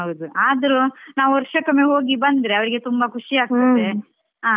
ಹ ಹೌದು ಆದ್ರೂ ನಾವು ವರ್ಷಕ್ಕೊಮ್ಮೆ ಹೋಗಿ ಬಂದ್ರೆ ಅವ್ರಿಗೆ ತುಂಬ ಖುಷಿ ಆಗ್ತದೆ.